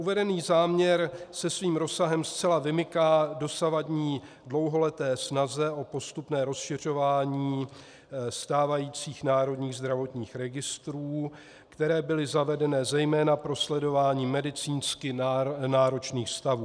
Uvedený záměr se svým rozsahem zcela vymyká dosavadní dlouholeté snaze o postupné rozšiřování stávajících národních zdravotních registrů, které byly zavedeny zejména pro sledování medicínsky náročných stavů.